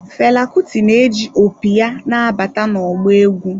Fela Kuti na-eji opi ya na-abata na ọgbọ egwu.